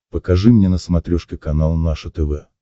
покажи мне на смотрешке канал наше тв